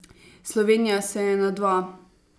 Slovenija se je na dva.